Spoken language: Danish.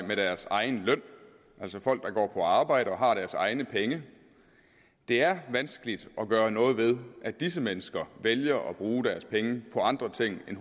med deres egen løn altså folk der går på arbejde og har deres egne penge det er vanskeligt at gøre noget ved at disse mennesker vælger at bruge deres penge på andre ting end